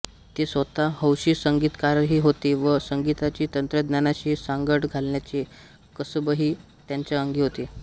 ते स्वतः हौशी संगीतकारही होते व संगीताची तंत्रज्ञानाशी सांगड घालण्याचे कसबही त्यांच्या अंगी होते